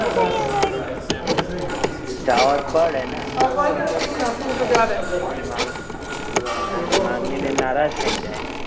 જવું તો પડે ને હિમાંગી બેન નારાઝ થઇ જાય